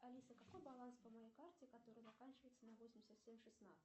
алиса какой баланс по моей карте которая заканчивается на восемьдесят семь шестнадцать